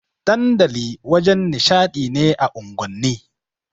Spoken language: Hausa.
Dandali wajen nishaɗi ne a unguwanni.